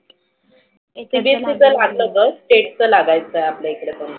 CBSC च लागल होतं state च लागायच आपल्या इकडे पण.